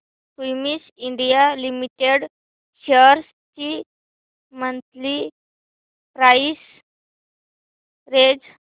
Cummins India Limited shares ची monthly price range